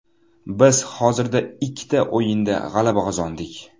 Biz hozircha ikkita o‘yinda g‘alaba qozondik.